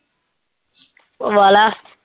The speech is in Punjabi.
ਪਵਾਲਾ।